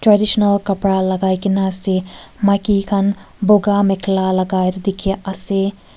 traditional kapara lagai kina ase maiki khan bogah makhela lagai dekhi ase.